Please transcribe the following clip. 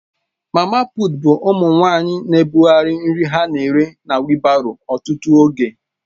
Mama puut bụ ụmụ nwanyị na-ebugharị nri ha na-ere na wịịlbárọ ọtụtụ oge.